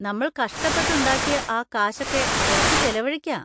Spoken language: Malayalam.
നമ്മൾ കഷ്ടപ്പെട്ടുണ്ടാക്കിയ ആ കാശൊക്കെ കുറച്ച് ചിലവഴിക്കാ.